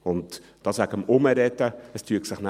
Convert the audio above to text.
Dazu, es würde sich nachher herumsprechen: